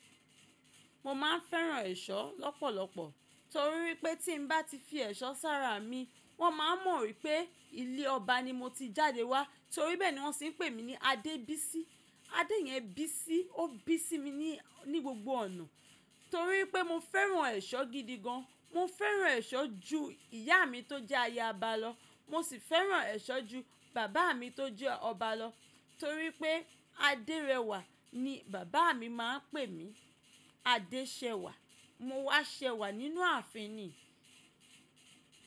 Mo máa ń fẹ́ran ẹ̀ṣọ́ lọ́pọ̀lọpọ̀ torí pé tí bá ti fi ẹ̀ṣọ́ sára mi wón máa mọ̀ wípé ilé ọba ni mo ti jáde wá torí bẹ́ẹ̀ ni wón se ń pè mí ní Adébísí. Adé yẹ́n Bísí. Ó bí sí mi ní, ní gbogbo ọ̀nà torí pé mo fẹ́ran ẹ̀ṣọ́ gidi gan. Mo fẹ́ran ẹ̀ṣọ́ ju ìyá mi tó jẹ́ ayaba lọ. Mo sì fẹ́ran ẹ̀ṣọ́ ju bàbá mi tó jẹ́ ọba lọ torí pé Adérẹwà ni bàbá mi máa ń pè mí. Adéṣẹ̀wà mo wá ṣẹ wà nínú ààfin ni.